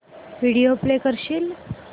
video play करशील